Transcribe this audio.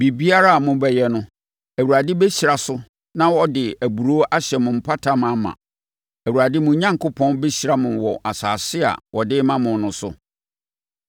Biribiara a mobɛyɛ no, Awurade bɛhyira so na ɔde aburoo ahyɛ mo apata ma ma. Awurade, mo Onyankopɔn, bɛhyira mo wɔ asase a ɔde rema mo no so.